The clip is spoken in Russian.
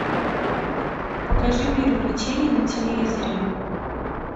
покажи мир увлечений на телевизоре